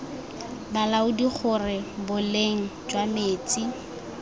balaodi gore boleng jwa metsi